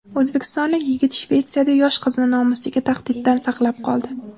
O‘zbekistonlik yigit Shvetsiyada yosh qizni nomusiga tahdiddan saqlab qoldi.